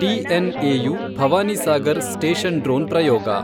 TNAU Bhavanisagar station drone ಪ್ರಯೋಗ